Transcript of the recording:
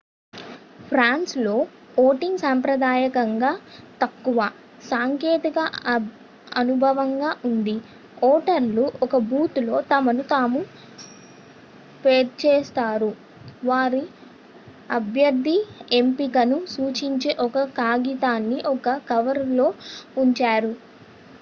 ఫ్రాన్స్లో ఓటింగ్ సంప్రదాయకంగా తక్కువ-సాంకేతిక అనుభవంగా ఉంది ఓటర్లు ఒక బూత్ లో తమను తాము వేరుచేస్తారు వారి అభ్యర్థి ఎంపికను సూచించే ఒక కాగితాన్ని ఒక కవరులో ఉంచారు